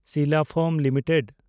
Sila foam limited